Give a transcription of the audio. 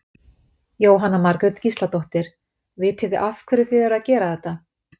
Jóhanna Margrét Gísladóttir: Vitið þið af hverju þið eruð að gera þetta?